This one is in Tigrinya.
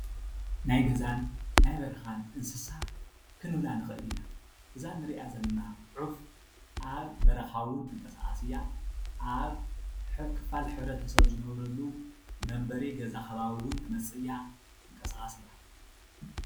ናይ ገዛን ናይ በረኻን እንስሳ ክንብላ ንኽእል ኢና፡፡ እዛ ንሪኣ ዘለና ዑፍ ኣብ በረኻ እውን ትንቀሳቐስ እያ፤ ኣብ ክፋል ሕብረተሰብ ዝነብረሉ መንበሪ ገዛ ከባቢ እውን ትመፅእ እያ፡፡ ትንቀሳቐስ እያ፡፡